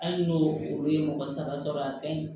Hali n'o olu ye mɔgɔ saba sɔrɔ a ka ɲi